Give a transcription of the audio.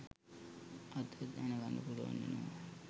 අද දැනගන්න පුලුවන් වෙනවා